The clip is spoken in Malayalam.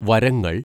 വരങ്ങൾ